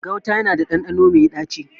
Gauta yana da ɗanɗano mai ɗaci.